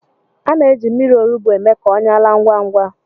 Ana-eji mmiri olugbu eme ka ọnyá laa ngwá ngwá.